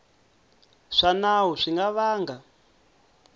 swa nawu swi nga vanga